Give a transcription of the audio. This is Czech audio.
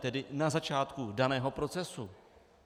Tedy na začátku daného procesu.